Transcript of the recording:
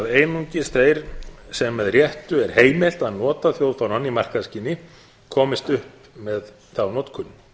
að einungis þeir sem með réttu er heimilt að nota þjóðfánann í markaðsskyni komist upp með þá notkun